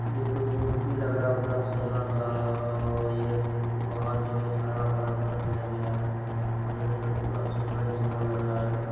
ये कोई मूर्ति लग रहा है प्लस सोने का ओ बहार पूरा हरा-भरा दिया है ओर अंदर पूरा सोना ही सोना लगा है।